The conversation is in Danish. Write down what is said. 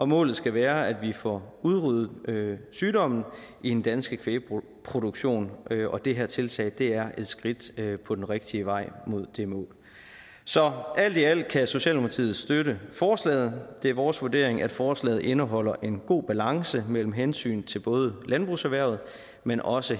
målet skal være at vi får udryddet sygdommen i den danske kvægproduktion og det her tiltag er et skridt på den rigtige vej mod det mål så alt i alt kan socialdemokratiet støtte forslaget det er vores vurdering at forslaget indeholder en god balance mellem hensyn til både landbrugserhvervet men også